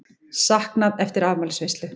Saknað eftir afmælisveislu